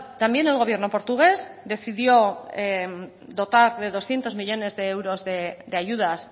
también el gobierno portugués decidió dotar de doscientos millónes de euros de ayudas